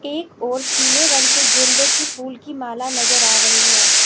एक ओर पीले रंग के गेंदे की फूल की माला नजर आ रही है।